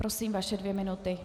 Prosím, vaše dvě minuty.